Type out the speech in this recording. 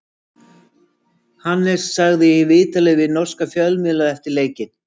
Hannes sagði í viðtali við norska fjölmiðla eftir leikinn: